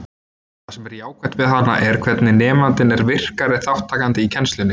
Það sem er jákvætt við hana er hvernig nemandinn er virkari þátttakandi í kennslunni.